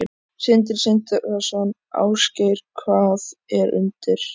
Sindri Sindrason: Ásgeir, hvað er undir?